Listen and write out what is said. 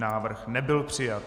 Návrh nebyl přijat.